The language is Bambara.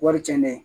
Wari cɛnnen